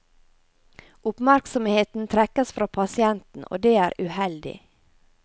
Oppmerksomheten trekkes fra pasienten, og det er uheldig.